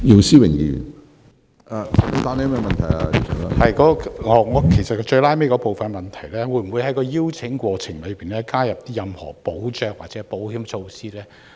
主席，我在補充質詢的最後部分詢問局長，會否在邀請海外團體的過程中加入任何保障或保險措施？